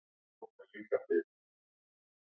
Neisti